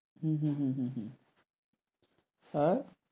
হুম হুম হুম হুম হুম আর?